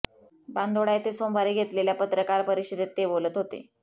बांदोडा येथे सोमवारी घेतलेल्या पत्रकार परिषदेत ते बोलत होते